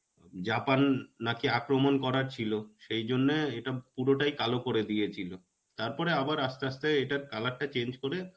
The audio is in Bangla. জাপান নাকি আক্রমন করার ছিলো. সেইজন্যে এটা পুরোটাই কালো করে দিয়েছিলো. তারপর আবার আস্তে আস্তে এটার color টা change করে